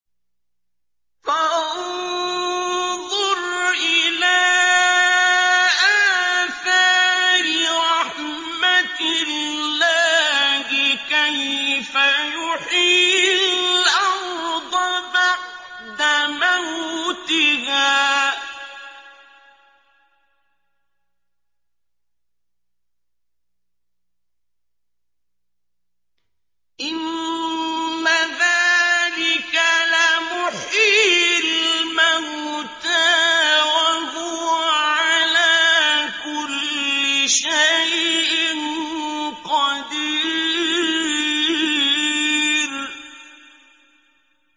فَانظُرْ إِلَىٰ آثَارِ رَحْمَتِ اللَّهِ كَيْفَ يُحْيِي الْأَرْضَ بَعْدَ مَوْتِهَا ۚ إِنَّ ذَٰلِكَ لَمُحْيِي الْمَوْتَىٰ ۖ وَهُوَ عَلَىٰ كُلِّ شَيْءٍ قَدِيرٌ